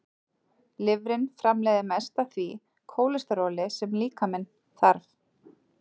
Lifrin framleiðir mest af því kólesteróli sem líkaminn þarf.